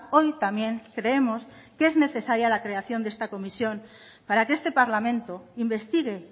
hoy también creemos que es necesaria la creación de esta comisión para que este parlamento investigue